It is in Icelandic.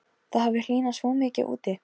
Það hafði hlýnað svo mikið úti.